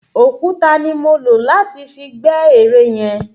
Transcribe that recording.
Òkúta ni mo lò láti fi gbẹ́ ere yẹn.